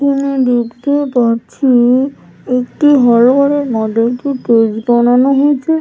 এখানে দেখতেও পাচ্ছি-ই একটি হল ঘরের মধ্যে বানানো হয়্যেছে ।